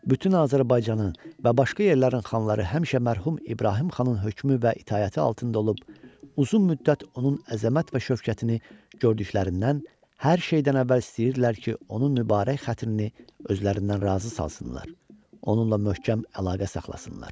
Bütün Azərbaycanın və başqa yerlərin xanları həmişə mərhum İbrahim Xanın hökmü və itaəti altında olub, uzun müddət onun əzəmət və şövkətini gördüklərindən hər şeydən əvvəl istəyirdilər ki, onun mübarək xəttini özlərindən razı salsınlar, onunla möhkəm əlaqə saxlasınlar.